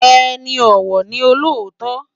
Eni òwò ni ôlótò